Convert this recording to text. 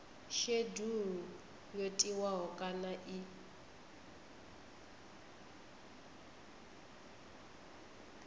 shedulu yo tiwaho kana i